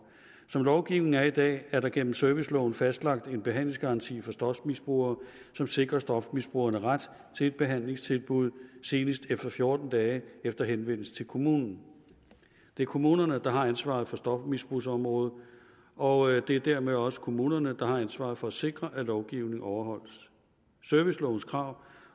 som lovgivningen er i dag er der gennem serviceloven fastlagt en behandlingsgaranti for stofmisbrugere som sikrer stofmisbrugerne ret til et behandlingstilbud senest fjorten dage efter henvendelse til kommunen det er kommunerne der har ansvaret for stofmisbrugsområdet og det er dermed også kommunerne der har ansvaret for at sikre at lovgivningen overholdes servicelovens krav